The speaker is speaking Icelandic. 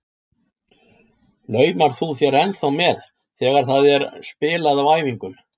Laumar þú þér ennþá með þegar það er spilað á æfingum?